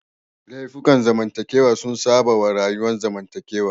Laifukan zamantakewa sun saba wa rayuwar zamantakewa